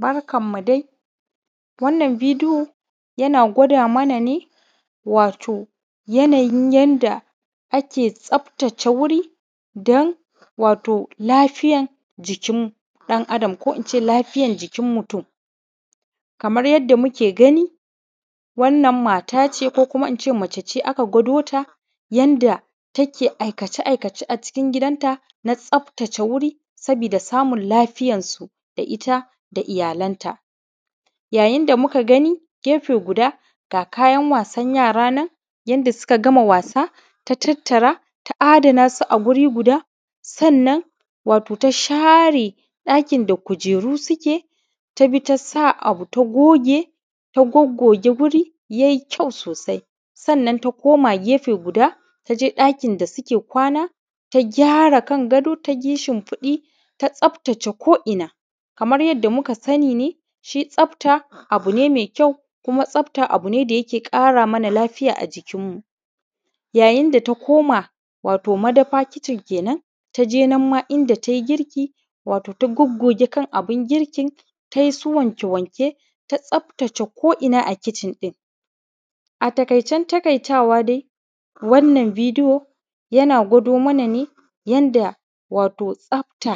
Barkamu dai wato wannan bidiyo yana gwada mana wato yanayin yanda ake tsaftace wuri don wato lafiyar jikinmu ɗan adam ko in ce lafiyar jikin mutum kamar yanda muke gani wannan mata ce ko kuma in ce macce ce aka gwado ta yanda take aikace a gidanta na tsaftace wuri sabida samin lafiyarsu ita da iyalanta yanda muke gani gefe guda ga kayan wasan yara nan yanda suka gama wasa ta tatara ta adana su a wuri guda sannan wato ta share ɗakin da kujeru suke tafi ta sa abu ta goge ta gogoge wuri yai kyau sosai sannan ta koma gefe guda ta je ɗakin da suke kwana ta kyara kan gado ta shimfiɗi ta tsaftace ko’ina kamar yanda muka sani ne shi tsafta abu ne me kyau kuma tsafta abu ne da yake ƙara mana lafiya a jikinmu yayin da ta koma wato madafa kicin kenan ta je nan ma inda tai girki wato ta gogoge kana bun girkin ta yi su wanke-wanke ta tsaftace ko’ina a kicin ɗin a taƙaicen taƙaitawa dai wannan bidiyo yana gwado mana ne yanda wato tsafta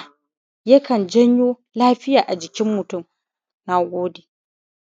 yakan jawo wato lafiya a jikin mutum na gode.